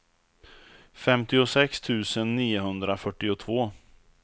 femtiosex tusen niohundrafyrtiotvå